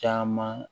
Caman